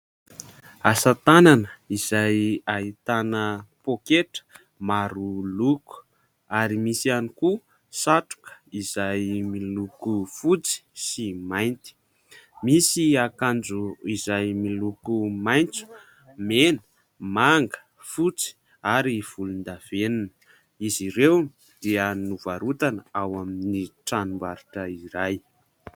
Asa tanana izay ahitana pôketra maro loko ary misy ihany koa satroka izay miloko fotsy sy mainty. Misy akanjo izay miloko maitso, mena, manga, fotsy ary volondavenona, izy ireo dia novarotana ao amin'ny tranom-barotra iray.